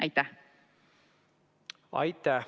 Aitäh!